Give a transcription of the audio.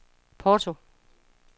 Porto